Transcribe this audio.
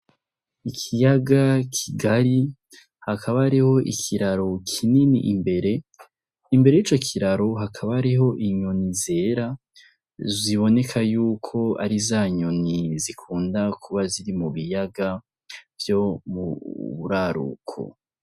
Ikiyaga kigari hakaba ariho ikiraro kinini imbere , imbere yi co kiraro hakaba ariho inyoni zera ziboneka yuko ari zanyoni zikunda kuba ziri mu biyaga vyo mu buraruko.